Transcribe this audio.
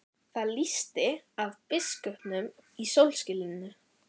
Það lýsti af biskupnum í sólskininu.